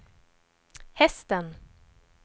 hästen